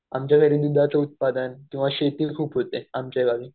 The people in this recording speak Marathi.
आमच्या घरी दुधाचं उत्पादन किंवा शेती खूप होते आमच्या गावी.